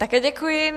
Také děkuji.